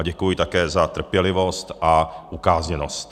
A děkuji také za trpělivost a ukázněnost.